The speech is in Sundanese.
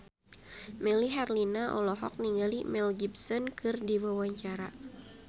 Melly Herlina olohok ningali Mel Gibson keur diwawancara